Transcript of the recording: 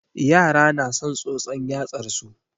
Yara na son tsotson yatsar su.